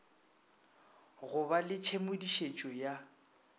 go ba le tshedimošetšo ya